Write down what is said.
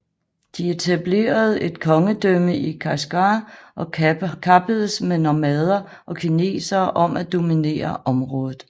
De etablerede et kongedømme i Kashgar og kappedes med nomader og kinesere om at dominere området